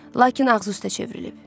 Lakin ağzı üstə çevrilib.